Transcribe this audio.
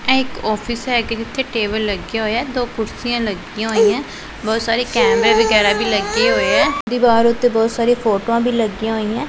ਇਕ ਆਫਿਸ ਹੈ ਕਿ ਜਿੱਥੇ ਟੇਬਲ ਲੱਗਿਆ ਹੋਇਆ ਦੋ ਕੁਰਸੀਆਂ ਲੱਗੀਆਂ ਹੋਈਆਂ ਬਹੁਤ ਸਾਰੇ ਕੈਮਰੇ ਵਗੈਰਾ ਵੀ ਲੱਗੇ ਹੋਏ ਆ ਦੀਵਾਰ ਉਤੇ ਬਹੁਤ ਸਾਰੀ ਫੋਟੋਆਂ ਵੀ ਲੱਗੀਆਂ ਹੋਈਆਂ ਏ।